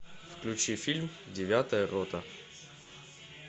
включи фильм девятая рота